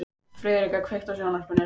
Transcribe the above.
Friðrika, kveiktu á sjónvarpinu.